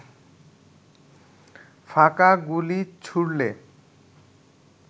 ফাঁকা গুলি ছুড়লে